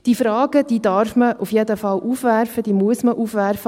Diese Fragen darf man auf jeden Fall aufwerfen, diese muss man aufwerfen.